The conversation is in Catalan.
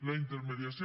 la intermediació